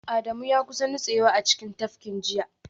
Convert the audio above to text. Adamu ya kusa nutsewa a cikin tafkin jiya